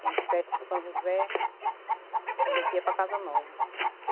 Tem as festas de São José, que a gente ia para Casa Nova.